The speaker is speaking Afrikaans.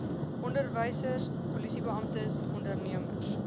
onderwysers polisiebeamptes ondernemers